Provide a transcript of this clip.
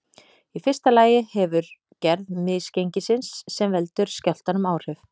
Í fyrsta lagi hefur gerð misgengisins sem veldur skjálftanum áhrif.